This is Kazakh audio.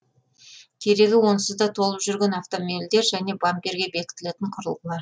керегі онсыз да толып жүрген автомобильдер және бамперге бекітілетін құрылғылар